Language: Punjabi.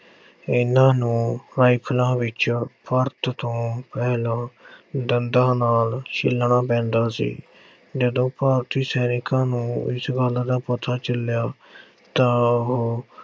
ਇਨ੍ਹਾਂ ਨੂੰ rifles ਵਿੱਚ ਤੋਂ ਪਹਿਲਾਂ ਦੰਦਾਂ ਨਾਲ ਛਿੱਲਣਾ ਪੈਂਦਾ ਸੀ। ਜਦੋਂ ਭਾਰਤੀ ਸੈਨਿਕਾਂ ਨੂੰ ਇਸ ਗੱਲ ਦਾ ਪਤਾ ਚੱਲਿਆ ਤਾਂ ਉਹ